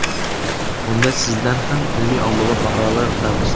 Unda sizdan ham ilmiy-ommabop maqolalar kutamiz.